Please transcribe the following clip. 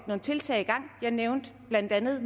nogle tiltag i gang jeg nævnte blandt andet